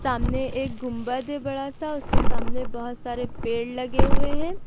सामने एक गुंबद है बड़ा सा उसके सामने बहुत सारे पेड़ लगे हुए हैं।